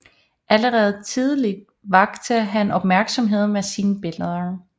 Allerede tidlig vakte han opmærksomhed ved sine billeder